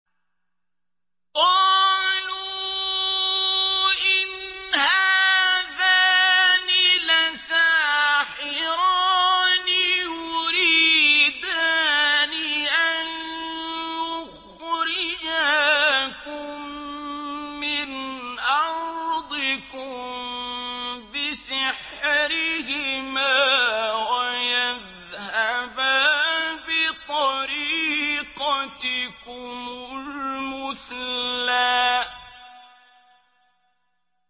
قَالُوا إِنْ هَٰذَانِ لَسَاحِرَانِ يُرِيدَانِ أَن يُخْرِجَاكُم مِّنْ أَرْضِكُم بِسِحْرِهِمَا وَيَذْهَبَا بِطَرِيقَتِكُمُ الْمُثْلَىٰ